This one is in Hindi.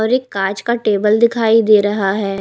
और एक कांच का टेबल दिखाई दे रहा है।